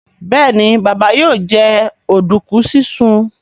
Béèni Baba yóò jẹ oduku sisùn.